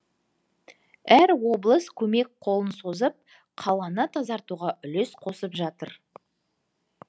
әр облыс көмек қолын созып қаланы тазартуға үлес қосып жатыр